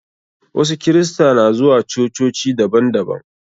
Wasu kirista na zuwa cococi daban daban.